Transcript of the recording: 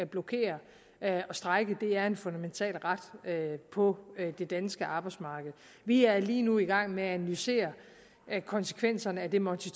blokere og strejke er en fundamental ret på det danske arbejdsmarked vi er lige nu i gang med at analysere konsekvenserne af det monti